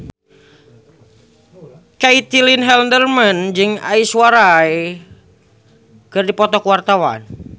Caitlin Halderman jeung Aishwarya Rai keur dipoto ku wartawan